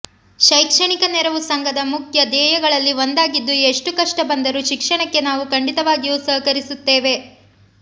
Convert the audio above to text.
ಶೈಕ್ಷಣಿಕ ನೆರವು ಸಂಘದ ಮುಖ್ಯ ಧ್ಯೇಯಗಳಲ್ಲಿ ಒಂದಾಗಿದ್ದು ಎಷ್ಟು ಕಷ್ಟ ಬಂದರೂ ಶಿಕ್ಷಣಕ್ಕೆ ನಾವು ಖಂಡಿತವಾಗಿಯೂ ಸಹಕರಿಸುತ್ತೇವೆ